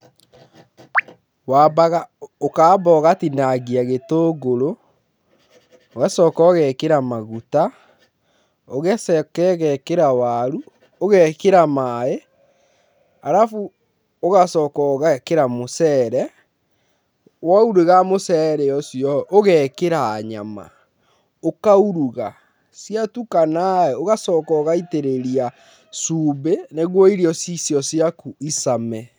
Wambaga, ũkamba ũgatinangia gĩtũngũrũ, ũgacoka ũgekĩra maguta, ũgacoka ũgekĩra waru, ũgekĩra maaĩ arabu ũgacoka ũgekĩra mũceere. Wauruga mũceere ũcio ũgekĩra nyama ũkauruga. Ciatukana ũgacoka ũgaitĩrĩria cumbi nĩguo irio icio ciaku icame.